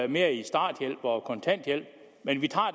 mere i starthjælp og kontanthjælp men vi tager